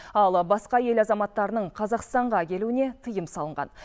ал басқа ел азаматтарының қазақстанға келуіне тыйым салынған